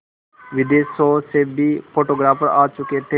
विदेशों से भी फोटोग्राफर आ चुके थे